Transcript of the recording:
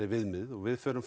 viðmið og við förum